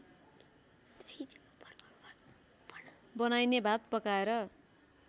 बनाइने भात पकाएर